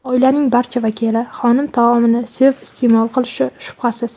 Oilaning barcha vakili xonim taomini sevib iste’mol qilishi shubhasiz.